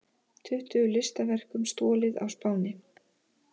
Tuttugu listaverkum stolið á Spáni